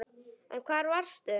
En hvar varstu?